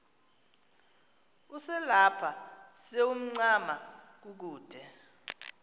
uselapha sewuncama kukude